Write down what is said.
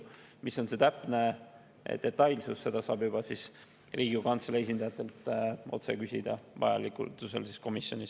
Millised on täpsed detailid, seda saab vajadusel Riigikogu Kantselei esindajatelt otse küsida komisjonis.